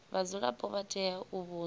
vhadzulapo vha tea u vhudzwa